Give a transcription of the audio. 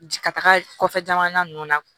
Ka taga kɔfɛ jamana nunnu na